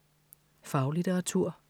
Faglitteratur